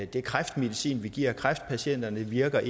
den kræftmedicin vi giver kræftpatienterne ikke virker